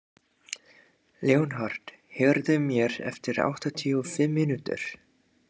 Leonhard, heyrðu í mér eftir áttatíu og fimm mínútur.